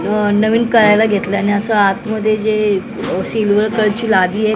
अ नवीन करायला घेतल आणि असं आत मध्ये जे सिल्वर कलर ची लादी आहे --